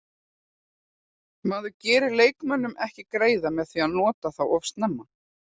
Maður gerir leikmönnum ekki greiða með því að nota þá of snemma.